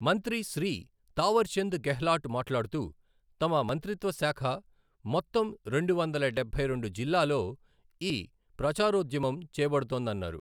మంత్రి శ్రీ తావర్చంద్ గెహ్లాట్ మాట్లాడుతూ, తమ మంత్రిత్వశాఖ మొత్తం రెండు వందల డబ్బై రెండు జిల్లాలో ఈ ప్రచారోద్యమం చేబడుతోందన్నారు.